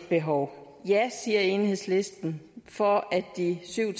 behov ja siger enhedslisten for at de syv